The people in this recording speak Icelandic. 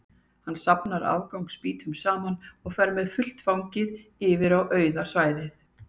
Hann safnar afgangs spýtum saman og fer með fullt fangið yfir á auða svæðið.